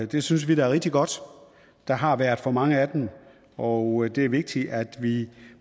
det synes vi er rigtig godt der har været for mange af dem og det er vigtigt at vi